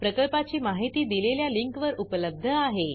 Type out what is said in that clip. प्रकल्पाची माहिती दिलेल्या लिंकवर उपलब्ध आहे